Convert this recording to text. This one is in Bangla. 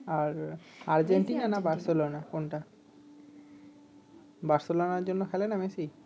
আর আরজেন্টিনা না বার্সোলনা কোন টা বার্সোলনার জন্য খেলে না মেসি